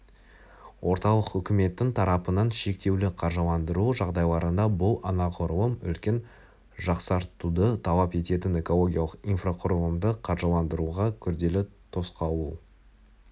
орталық үкіметтің тарапынан шектеулі қаржыландыру жағдайларында бұл анағұрлым үлкен жақсартуды талап ететін экологиялық инфрақұрылымды қаржыландыруға күрделі тосқауыл